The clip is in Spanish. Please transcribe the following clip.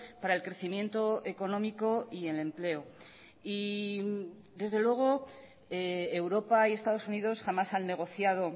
para el crecimiento económico y el empleo y desde luego europa y estados unidos jamás han negociado